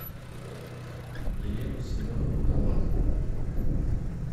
елену семеновну долматову